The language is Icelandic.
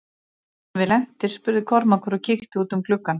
Erum við lentir spurði Kormákur og kíkti út um gluggann.